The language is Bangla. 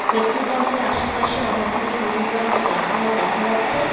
পেট্রোল পাম্প -এর আসেপাশে অনেকগুলো সবুজ রঙ্গের গাছপালা দেখা যাচ্ছে।